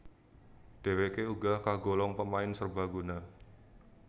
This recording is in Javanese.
Dheweké uga kagolong pemain serbaguna